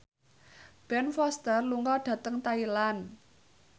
Ben Foster lunga dhateng Thailand